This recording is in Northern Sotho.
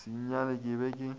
sa nyale ke be ke